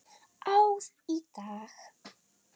Ár í dag.